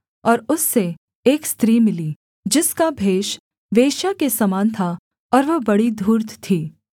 और उससे एक स्त्री मिली जिसका भेष वेश्या के समान था और वह बड़ी धूर्त थी